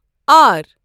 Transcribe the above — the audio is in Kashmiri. آر